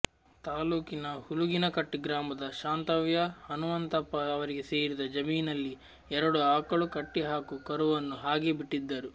ತಾಲೂಕಿನ ಹುಲುಗಿನಕಟ್ಟಿ ಗ್ರಾಮದ ಶಾಂತವ್ಯ ಹನುಮಂತಪ್ಪ ಅವರಿಗೆ ಸೇರಿದ ಜಮೀನಲ್ಲಿ ಎರಡು ಆಕಳು ಕಟ್ಟಿಹಾಕು ಕರುವನ್ನು ಹಾಗೆ ಬಿಟ್ಟಿದ್ದರು